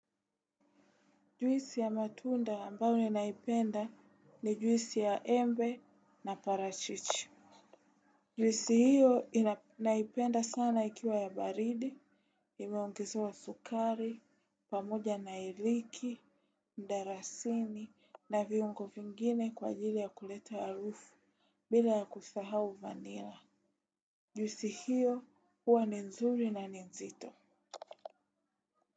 Juisi ya matunda ambayo ninaipenda ni juisi ya embe na parachichi. Juisi hiyo naipenda sana ikiwa ya baridi, imeongezwa sukari, pamoja na iliki, ndarasini na viungo fingine kwa ajili ya kuleta arufu bila ya kusahau vanila. Juisi hiyo huwa ni nzuri na nzito.